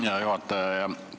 Hea juhataja!